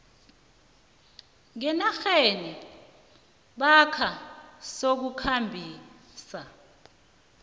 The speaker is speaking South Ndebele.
ngenarheni namkha sokukhambisa